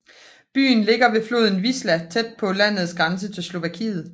Byen ligger ved floden Wisła tæt på landets grænse til Slovakiet